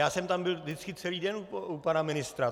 Já jsem tam byl vždycky celý den u pana ministra.